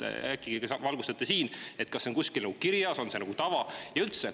Äkki valgustate meid: kas see on kuskil kirjas, on see nagu tava?